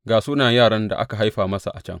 Ga sunayen yaran da aka haifa masa a can.